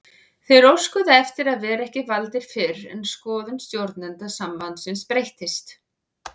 Þeir óskuðu eftir að vera ekki valdir fyrr en skoðun stjórnenda sambandsins breyttist.